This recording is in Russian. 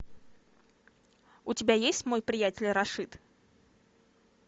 у тебя есть мой приятель рашид